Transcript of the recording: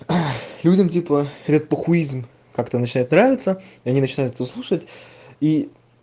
ой людям типа этот похуизм как-то начинает нравиться они начинаются выслушает и